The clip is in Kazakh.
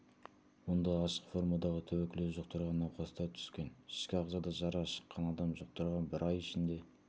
онда ашық формадағы туберкулез жұқтырған науқастар түскен ішкі ағзада жара шыққан адам жұқтырған бір ай ішінде